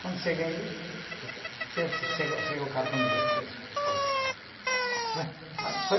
Quando cheguei aqui, che, chegou chegou o cartão de despejo, ontem.